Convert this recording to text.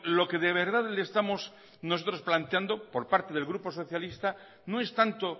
lo que de verdad le estamos nosotros planteando por parte del grupo socialista no es tanto